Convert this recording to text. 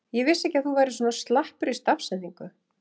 Ég vissi ekki að þú værir svona slappur í stafsetningu!